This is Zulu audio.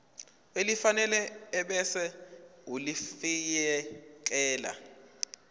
elifanele ebese ulifiakela